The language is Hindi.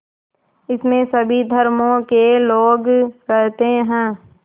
इसमें सभी धर्मों के लोग रहते हैं